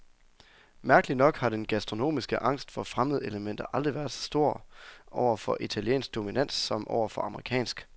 Mærkeligt nok har den gastronomiske angst for fremmedelementer aldrig været så stor over for italiensk dominans som over for amerikansk.